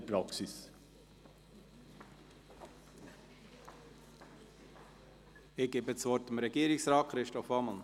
Ich gebe das Wort Regierungsrat Christoph Ammann.